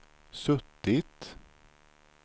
suttit